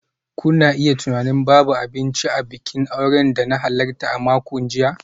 Kuna iya tunanin babu abinci a bikin auren da na halarta a makon jiya.